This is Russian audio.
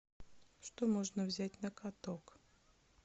что можно взять на каток